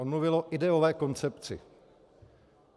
On mluvil o ideové koncepci.